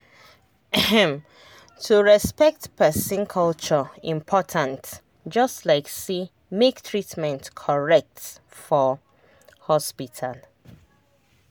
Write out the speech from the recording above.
ehm to respect person culture important just like say make treatment correct for hospital.